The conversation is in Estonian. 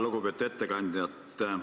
Lugupeetud ettekandja!